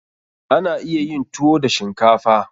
Ana iya yin tuwo da shinkafa.